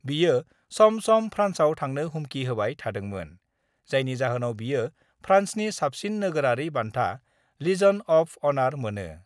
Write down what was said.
बियो सम सम फ्रान्सआव थांनो हुमखि होबाय थादोंमोन, जायनि जाहोनाव बियो फ्रान्सनि साबसिन नोगोरारि बान्था लिजन अफ अनार मोनो।